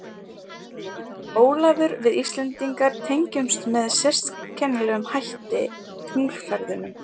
Heimir: Ólafur við Íslendingar tengjumst með sérkennilegum hætti tunglferðunum?